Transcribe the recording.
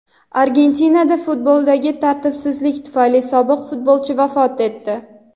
Argentinada futboldagi tartibsizlik tufayli sobiq futbolchi vafot etdi.